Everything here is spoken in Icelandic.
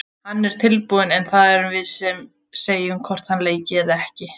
Hann er tilbúinn en það erum við sem segjum hvort hann leiki eða ekki.